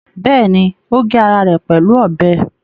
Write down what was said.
Bẹ́ẹ̀ni, ó gé ara ẹ̀ pẹ̀lú ọbẹ̀